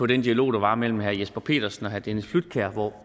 den dialog der var mellem herre jesper petersen og herre dennis flydtkjær hvor